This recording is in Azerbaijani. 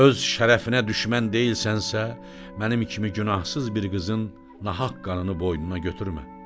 Öz şərəfinə düşmən deyilsənsə, mənim kimi günahsız bir qızın nahaq qanını boynuna götürmə.